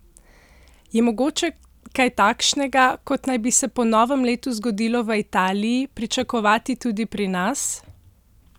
Je mogoče kaj takšnega, kot naj bi se po novem letu zgodilo v Italiji, pričakovati tudi pri nas?